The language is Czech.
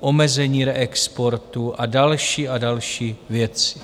omezení reexportu a další a další věci.